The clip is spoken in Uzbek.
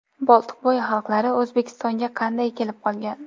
Boltiqbo‘yi xalqlari O‘zbekistonga qanday kelib qolgan?.